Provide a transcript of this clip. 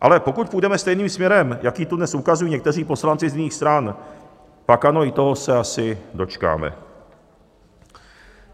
Ale pokud půjdeme stejným směrem, jaký tu dnes ukazují někteří poslanci z jiných stran, pak ano, i toho se asi dočkáme.